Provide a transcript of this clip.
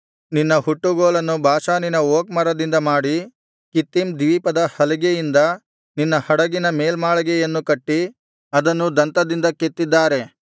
ನಿನ್ನ ಹುಟ್ಟುಗೋಲನ್ನು ಬಾಷಾನಿನ ಓಕ್ ಮರದಿಂದ ಮಾಡಿ ಕಿತ್ತೀಮ್ ದ್ವೀಪದ ಹಲಿಗೆಯಿಂದ ನಿನ್ನ ಹಡಗಿನ ಮೇಲ್ಮಾಳಿಗೆಯನ್ನು ಕಟ್ಟಿ ಅದನ್ನು ದಂತದಿಂದ ಕೆತ್ತಿದ್ದಾರೆ